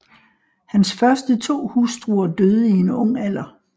Hans første to hustruer døde i en ung alder